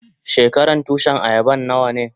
Shekaran Tushin ayaban nawa ne?